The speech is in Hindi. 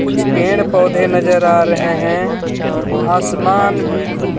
कुछ पेड़ पोधे नजर आ रहे हैं आसमान भी खुबसू-